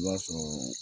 I b'a sɔrɔ